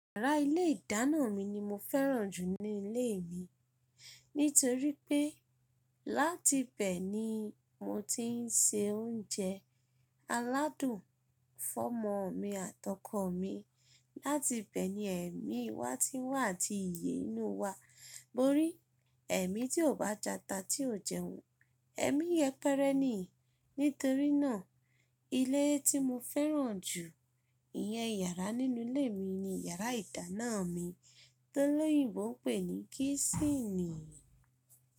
Yàrá ilé ìdáná mi ni mo fẹ́ràn jù ní ilé mi. Nítorí pé láti bẹ ní mọ ti ń se oúnjẹ aládùn fọmọ mi àtọkọ̀ mi. Láti bẹ ní ẹ̀mí wa ti ń wà àti iye inú wa. Tori ẹ̀mí tí ò bá jata tí ò jẹun, ẹ̀mí yẹpẹ́rẹ́ ni. Nítorí náà ilé tí mo fẹ́ràn jù iyẹn yàrá nínú ilé mi ni yàrá ìdáná mi tó lóyinbọ̀ ń pè ní kísìnì.